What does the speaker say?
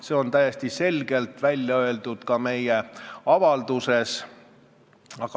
See on täiesti selgelt välja öeldud ka meie avalduses.